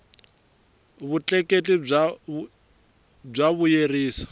vutleketli bya vuyerisa